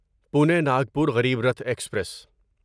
Pune Nagpur Garib Rath express